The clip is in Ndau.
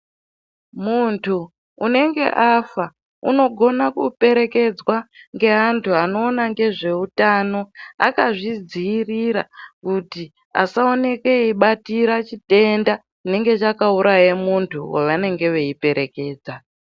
Muntu unenge afa unogona kuperekedzwa ngeantu anoona ngezveutano akazvidziirira kuti asaoneke eibatira chitenda chinenge chakauraye muntu wavanenge veiperekedza.